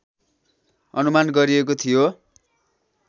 अनुमान गरिएको थियो